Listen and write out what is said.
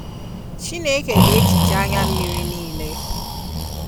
Chineke ga ehichaa anya mmịrị nịịle.